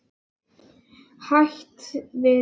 Hætt við þig.